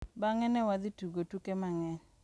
Bang’e, ne wadhi tugo tuke mang’eny.